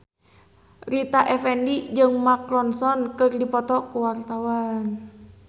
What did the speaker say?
Rita Effendy jeung Mark Ronson keur dipoto ku wartawan